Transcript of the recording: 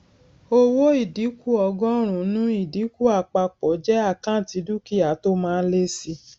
owó ìdínkù ọgọrùnún ìdínkù àpapọ jẹ àkáǹtì dúkìá tó máa ń lé síi